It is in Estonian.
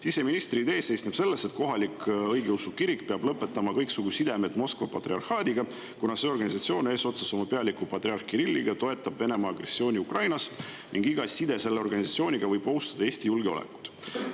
Siseministri idee seisneb selles, et kohalik õigeusu kirik peab lõpetama kõiksugu sidemed Moskva patriarhaadiga, kuna see organisatsioon eesotsas oma pealiku patriarh Kirilliga toetab Venemaa agressiooni Ukrainas ning iga side selle organisatsiooniga võib ohustada Eesti julgeolekut.